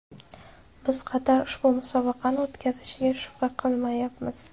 Biz Qatar ushbu musobaqani o‘tkazishiga shubha qilmayapmiz.